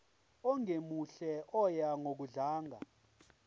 ongemuhle oya ngokudlanga